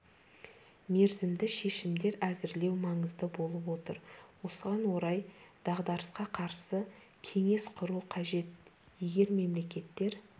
мерзімді шешімдер әзірлеу маңызды болып отыр осыған орай дағдарысқа қарсы кеңес құру қажет егер мемлекеттер